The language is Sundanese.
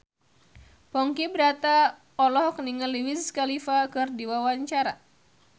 Ponky Brata olohok ningali Wiz Khalifa keur diwawancara